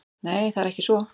Nei, það er ekki svo.